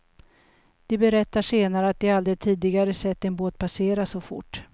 De berättar senare att de aldrig tidigare sett en båt passera så fort.